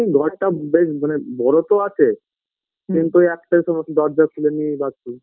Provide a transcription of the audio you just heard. ঘরটা বেশ মানে বড়ো তো আছে কিন্তু ওই একটাই সমস্যা দরজা খুলে নিয়ে বাচি